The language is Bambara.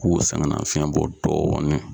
K'u sɛgɛn nafiyɛn bɔ dɔɔni.